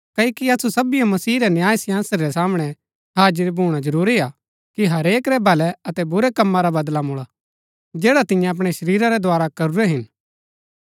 क्ओकि असु सबीओ मसीह रै न्यायसिंहासन रै सामणै हाजिर भूणा जरूरी हा कि हरेक रै भलै अतै बुरै कम्मा रा बदला मुळा जैडा तिन्यै अपणै शरीरा रै द्धारा करूरै हिन